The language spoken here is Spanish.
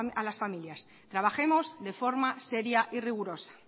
a las familias trabajemos de forma seria y rigurosa